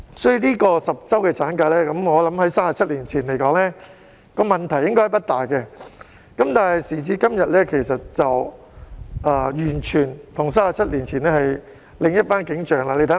所以 ，10 周產假在37年前的問題應該不大，但時至今天，與37年前便完全是另一番景象。